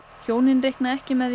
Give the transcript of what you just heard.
hjónin reikna ekki með